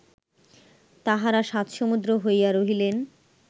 তাঁহারা সাত সমুদ্র হইয়া রহিলেন